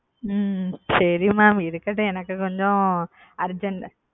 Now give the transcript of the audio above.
ஹம் சரி mam இருக்கட்டும் எனக்கு கொஞ்சம் urgent.